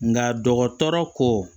Nka dɔgɔtɔrɔ ko